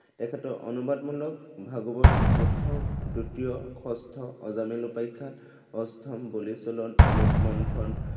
তেখেতক অনুবাদমূলক ভাগৱত, প্ৰথম দ্বিতীয়, ষষ্ঠ অজামিল উপাখ্য়ান, অষ্টম বলিছলন, অমৃত মন্থন